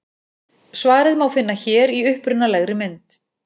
Svarið má finna hér í upprunalegri mynd.